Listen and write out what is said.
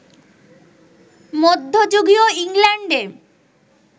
মধ্যযুগীয় ইংল্যান্ডে